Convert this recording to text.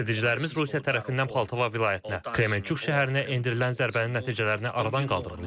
Xilasedicilərimiz Rusiya tərəfindən Poltava vilayətinə, Kremenchuk şəhərinə endirilən zərbənin nəticələrini aradan qaldırırlar.